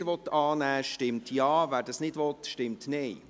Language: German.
Wer diese annehmen will, stimmt Ja, wer dies nicht will, stimmt Nein.